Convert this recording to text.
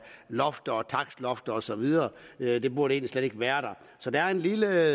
lofter og takstlofter og så videre videre det burde egentlig slet ikke være der så der er en lille